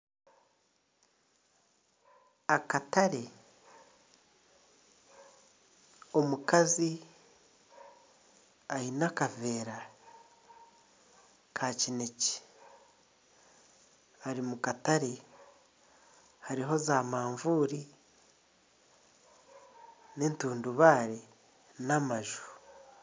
Akatare, omukazi aine akaveera ka kinekye ari omu katare hariho za mavuuri n'entundubaare n'amaju.